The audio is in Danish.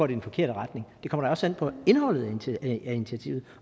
den forkerte retning det kommer da også an på indholdet af initiativet